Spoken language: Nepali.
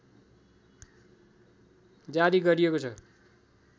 जारी गरिएको छ